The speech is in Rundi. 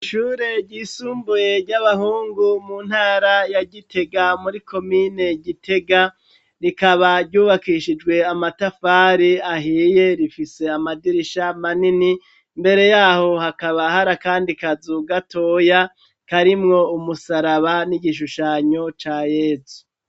Ishure ryisumbuye ry'abahungu mu ntara ya gitega muri komine gitega rikaba ryubakishijwe amatafari ahiye rifise amadirisha manini mbere yaho hakaba hara, kandi kaza ugatoya karimwo umusaraba n'igishushanyo ca yesu.